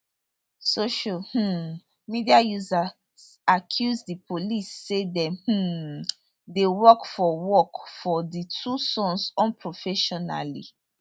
social um media users accuse di police say dem um dey work for work for di two sons unprofessionally